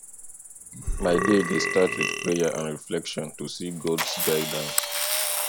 my day dey start with prayer and reflection to seek gods guidance